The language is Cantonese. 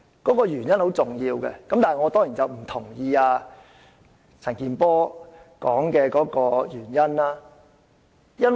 其實原因是很重要的，但我當然不認同陳健波議員提出的原因。